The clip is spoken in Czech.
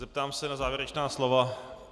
Zeptám se na závěrečná slova.